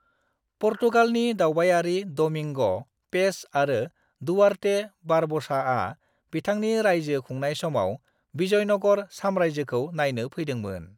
पुर्तगालनि दावबायारि Domingo Paes आरो Duarte बारब'साआ बिथांनि रायजो खुंनाय समाव विजयनगर साम्रायजोखौ नायनो फैदोंमोन।